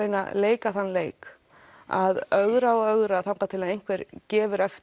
leika þann leik að ögra og ögra þangað til einhver gefur eftir